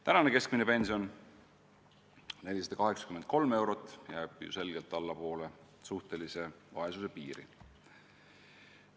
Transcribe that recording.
Tänane keskmine pension, 483 eurot, jääb ju selgelt allapoole suhtelise vaesuse piiri.